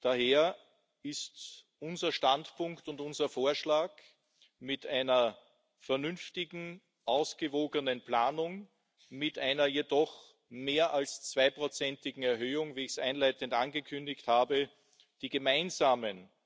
Daher ist unser Standpunkt und unser Vorschlag, mit einer vernünftigen, ausgewogenen Planung, mit einer jedoch mehr als zweiprozentigen Erhöhung, wie ich es einleitend angekündigt habe, die gemeinsamen.